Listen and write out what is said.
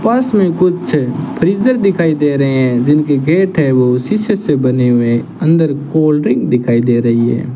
पास में कुछ फ्रीजर दिखाई दे रहे हैं जिनके गेट है वो शीशे से बने हुए अंदर कोल्ड ड्रिंक दिखाई दे रही है।